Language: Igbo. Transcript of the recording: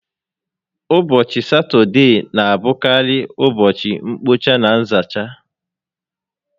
Ụbọchị Satọdee na abụkarị ụbọchị mkpocha na nzacha